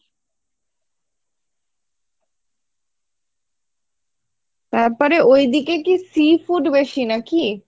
তারপরে ঐদিকে কী seafood বেশি নাকি?